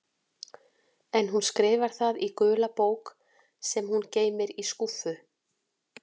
En hún skrifar það í gula bók sem hún geymir í skúffu.